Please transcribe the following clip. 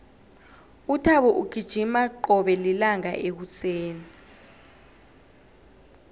uthabo ugijima qobe lilanga ekuseni